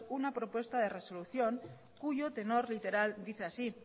una propuesta de resolución cuyo tenor literal dice así